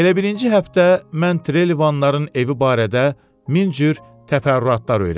Elə birinci həftə mən Trelivanların evi barədə min cür təfərrüatlar öyrəndim.